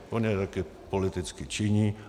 On je taky politicky činí.